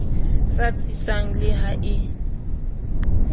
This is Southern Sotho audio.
sa tsitsang le ha e